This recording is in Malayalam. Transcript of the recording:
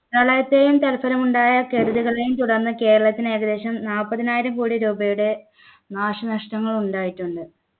പ്രളയത്തെയും തൽഫലമുണ്ടായ കെടുതികളെയും തുടർന്ന് കേരളത്തിന് ഏകദേശം നാല്പതിനായിരം കോടി രൂപയുടെ നാശനഷ്ടങ്ങൾ ഉണ്ടായിട്ടുണ്ട്